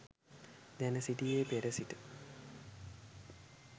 දැන සිටියේ පෙර සිට